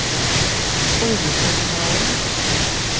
oljeterminalen